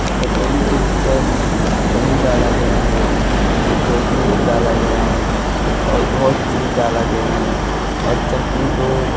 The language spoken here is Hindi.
कचौड़ी के ऊपर दही डाला गया है डाला गया है और बहोत चीज डाला गया है और चटनी तो --